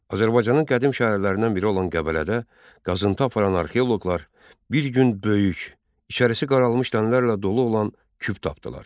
Azərbaycanın qədim şəhərlərindən biri olan Qəbələdə qazıntı aparan arxeoloqlar bir gün böyük, içərisi qaralmış dənərlərlə dolu olan küp tapdılar.